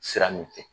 Sira min fɛ